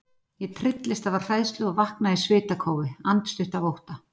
Ég trylltist af hræðslu og vaknaði í svitakófi, andstutt af ótta.